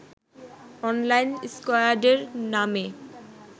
online স্কয়াডের নামে